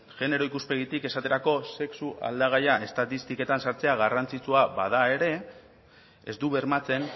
genero ikuspegitik esaterako sexu aldagaia estatistiketan sartzea garrantzitsua bada ere ez du bermatzen